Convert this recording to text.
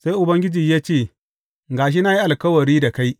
Sai Ubangiji ya ce, Ga shi na yi alkawari da kai.